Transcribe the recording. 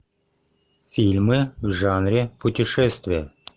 фильмы в жанре путешествия